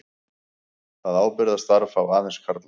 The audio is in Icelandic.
Það ábyrgðarstarf fá aðeins karlar.